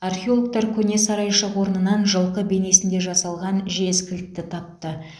археологтар көне сарайшық орнынан жылқы бейнесінде жасалған жез кілтті тапты